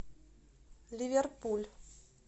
ливерпуль